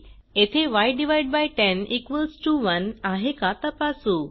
येथे y101 आहे का तपासू